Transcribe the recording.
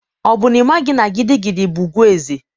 Ọ bụ n'ịmaghị na gidigidi bụ ùgwù ezé?